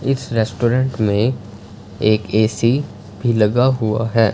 इस रेस्टोरेंट में एक ए_सी भी लगा हुआ है।